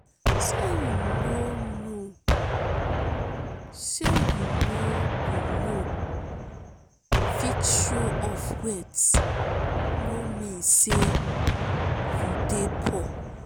sey you no you no fit show off wealth no mean sey you dey poor.